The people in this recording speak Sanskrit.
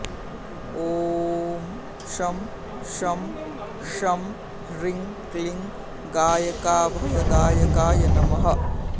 ॐ शं शां षं ह्रीं क्लीं गायकाभयदायकाय नमः